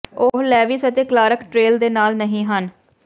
ਉਹ ਲੇਵਿਸ ਅਤੇ Clark trail ਦੇ ਨਾਲ ਨਹੀਂ ਹਨ